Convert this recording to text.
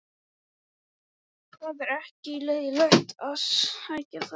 Það var ekki leiðinlegt að sækja þær.